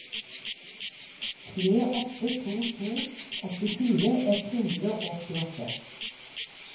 tre åtte to to åttifire ett hundre og åttiåtte